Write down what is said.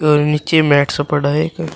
और नीचे मैट्स पड़ा है।